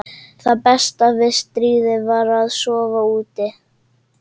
Þú verður að hegða þér einsog sómasamleg manneskja stelpa.